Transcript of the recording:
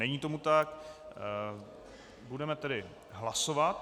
Není tomu tak, budeme tedy hlasovat.